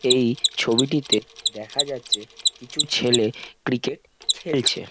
এই ছবিটিতে দেখা যাচ্ছে কিছু ছেলে ক্রিকেট খেলছে।